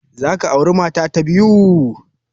Za ka aure mata ta biyu?